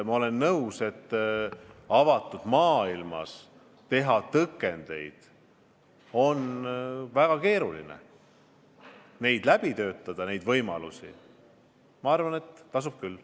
Ma olen nõus, et avatud maailmas tõkendeid seada on väga keeruline, aga neid võimalusi läbi töötada tasub küll.